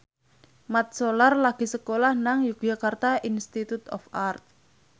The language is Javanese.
Mat Solar lagi sekolah nang Yogyakarta Institute of Art